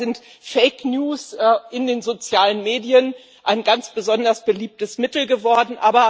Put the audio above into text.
Dabei sind Fake News in den sozialen Medien ein ganz besonders beliebtes Mittel geworden.